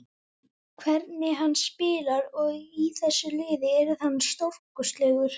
Hvernig hann spilar, og í þessu liði, hann yrði stórkostlegur.